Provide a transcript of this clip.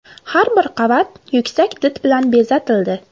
Har bir qavat yuksak did bilan bezatildi.